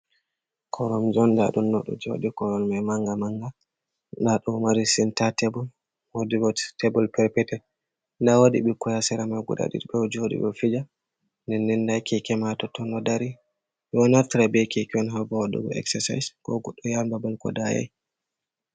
Koromje on nda ɗum ɗo ɗo jodi kowal mai manga manga. Nda ɗo mari senta tebol, wodi bo tebol perpetel nda wodi ɓikkoi ha sera mai guda ɗiɗi ɓe ɗo joɗi ɓe ɗo fija, nden nden nda keke mai ha totton ɗo dari. Ɓe ɗo naftira be keke on ha waɗugo exersise ko goɗɗo yahan babal ko dayai.